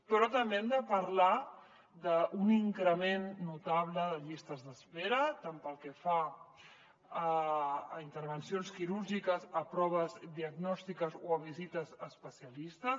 però també hem de parlar d’un increment notable de llistes d’espera tant pel que fa a intervencions quirúrgiques com a proves diagnòstiques o a visites a especialistes